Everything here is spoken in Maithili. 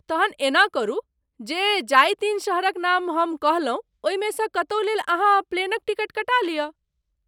तहन एना करू जे जाहि तीन शहरक नाम हम कहलहुँ ओहिमे सँ कतहु लेल अहाँ प्लेनक टिकट कटा लिअ।